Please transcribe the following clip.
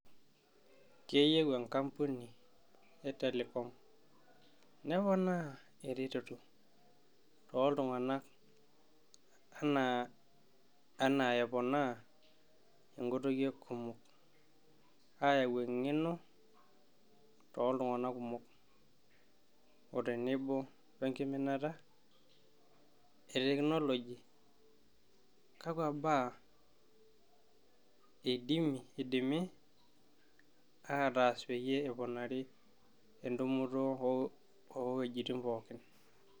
Keyieu enkampuni e telecom neponaa ereteto tooltunganak anaa aponaa inkutukie kumok ,ayau eng'eno tooltunganak kumok otenebo enkiminata etekinoloji .kakwa baa eidimi aataas peyie eponari entumoto too wuejitin pookin?